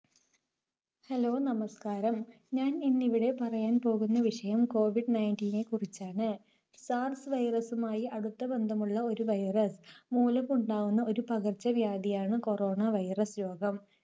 hello നമസ്കാരം, ഞാൻ ഇന്നിവിടെ പറയാൻ പോകുന്ന വിഷയം കോവിഡ് Nineteen നെ കുറിച്ചാണ്. SARS virus മായി അടുത്ത ബന്ധമുള്ള ഒരു virus മൂലം ഉണ്ടാകുന്ന ഒരു പകർച്ചവ്യാധിയാണ് Corona virus രോഗം